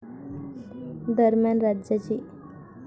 दरम्यान राज्याची.